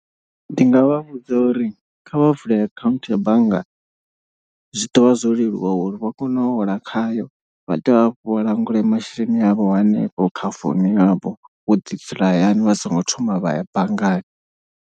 Ndi nga vha vhudza uri kha vha vule akhaunthu ya banngani zwi ḓo vha zwo leluwa uri vha kone u hola khayo. Vha dovhe hafho vha langulwe masheleni avho hanefho kha phone yavho wo ḓi dzula hayani vha songo thoma vha ya banngani.